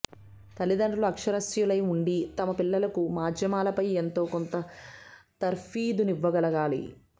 తల్లిదండ్రులు అక్షరాస్యులై ఉండి తమ పిల్లలకూ మాధ్యమాలపై ఎంతో కొంత తర్ఫీదునివ్వగలగాలి